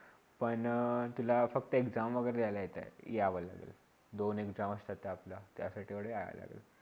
पण तुला फक्त exam वेगरे द्यालाल यावं लागेल दोन Exam असतात त्या आपल्या त्या साठी यावं लागेल